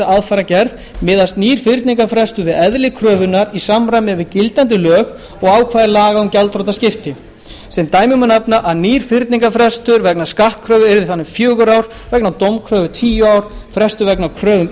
aðfarargerð miðast nýr fyrningarfrestur við eðli kröfunnar í samræmi við gildandi lög og ákvæði laga um gjaldþrotaskipti sem dæmi má nefna að nýr fyrningarfrestur vegna skattkröfu yrði þannig fjögur ár vegna dómkröfu tíu ár og frestur vegna kröfu um